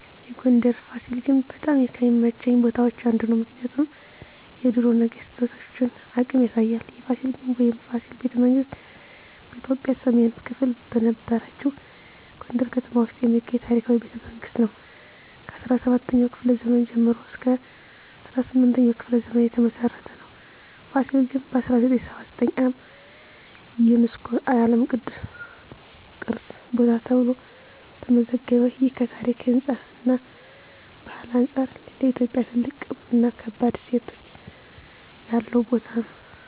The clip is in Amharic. የጎንደር የፋሲል ግንብ በጣም ከሚመቹኝ ቦታዎች አንዱ ነው። ምክንያቱም የድሮ ነገስታቶን አቅም ያሳያል። የፋሲል ግንብ ወይም “የፋሲል ቤተመንግስት ” በኢትዮጵያ ሰሜን ክፍል በነበረችው የጎንደር ከተማ ውስጥ የሚገኝ ታሪካዊ ቤተመንግስት ነው። ከ17ኛው ክፍለ ዘመን ጀምሮ እስከ 18ኛው ክፍለ ዘመን የተመሰረተ ነው። ፋሲል ግንብ በ1979 ዓ.ም. ዩነስኮ የዓለም ቅዱስ ቅርስ ቦታ ተብሎ ተመዘገበ። ይህ ከታሪክ፣ ህንፃ እና ባህል አንጻር ለኢትዮጵያ ትልቅ እና ከባድ እሴት ያለው ቦታ ነው።